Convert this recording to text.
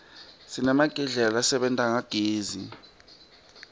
sinemagedlela lasebenta ngagezi